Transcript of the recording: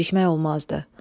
Gecikmək olmazdı.